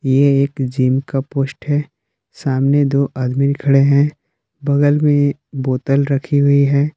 ये एक जिम का पोस्ट है सामने दो आदमी खड़े हैं बगल में बोतल रखी हुई है।